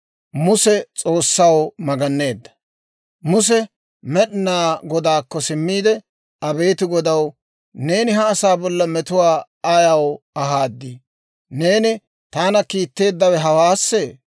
Muse Med'inaa Godaakko simmiide, «Abeet Godaw, neeni ha asaa bolla metuwaa ayaw ahaadii? Neeni taana kiitteeddawe hawaassee?